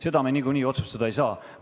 Seda me niikuinii otsustada ei saa.